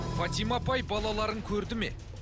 фатима апай балаларын көрді ме